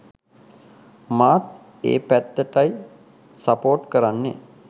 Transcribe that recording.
මාත් ඒ පැත්තටයි සපෝට් කරන්නෙ